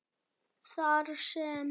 Þar sem